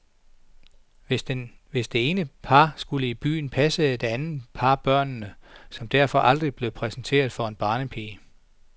Hvis det ene par skulle i byen, passede det andet par børnene, som derfor aldrig blev præsenteret for en barnepige.